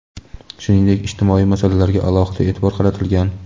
Shuningdek, ijtimoiy masalalarga alohida e’tibor qaratilgan.